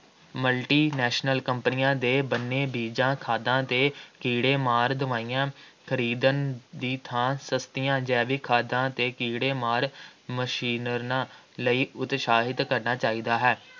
multi national ਕੰਪਨੀਆਂ ਦੇ ਬਣੇ ਬੀਜਾਂ, ਖਾਦਾਂ ਅਤੇ ਕੀੜੇ-ਮਾਰ ਦਵਾਈਆਂ ਖਰੀਦਣ ਦੀ ਥਾਂ ਸਸਤੀਆਂ ਜੈਵਿਕ ਖਾਦਾਂ ਅਤੇ ਕੀੜੇਮਾਰ ਮਿਸ਼ਰਣਾਂ ਲਈ ਉਤਸ਼ਾਹਿਤ ਕਰਨਾ ਚਾਹੀਦਾ ਹੇ।